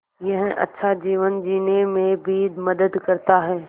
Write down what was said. यह अच्छा जीवन जीने में भी मदद करता है